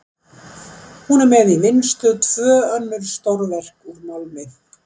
Þá er hún með í vinnslu tvö önnur stórverk úr málmi.